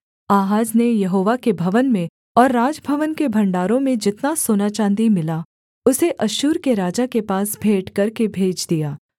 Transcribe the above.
आहाज ने यहोवा के भवन में और राजभवन के भण्डारों में जितना सोनाचाँदी मिला उसे अश्शूर के राजा के पास भेंट करके भेज दिया